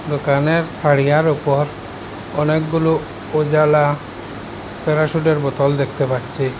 দোকানের তারিয়ার উপর অনেকগুলো উজালা প্যারাশুটের বোতল দেখতে পাচ্ছি।